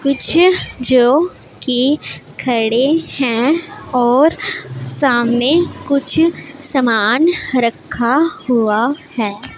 कुछ जो कि खड़े हैं और सामने कुछ समान रखा हुआ है।